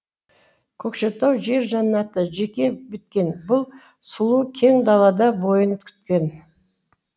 көкшетау жер жаннаты жеке біткен бұл сұлу кең далада бойын күткен